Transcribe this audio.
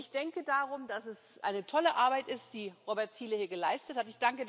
Ich denke darum, dass es eine tolle Arbeit ist, die Robert Zīle hier geleistet hat.